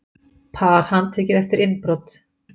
Par handtekið eftir innbrot